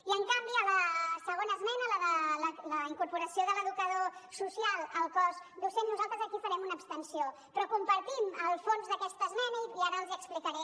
i en canvi a la segona esmena la de la incorporació de l’educador social al cos docent nosaltres aquí farem una abstenció però compartim el fons d’aquesta esmena i ara els hi explicaré